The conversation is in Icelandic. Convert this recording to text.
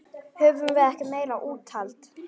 Höfðum við ekki meira úthald?